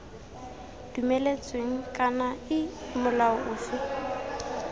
dumeletsweng kana iii molao ofe